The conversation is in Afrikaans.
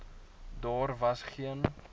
daar was geen